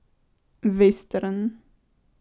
Vestern.